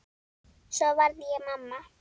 Svo varð ég mamma.